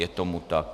Je tomu tak.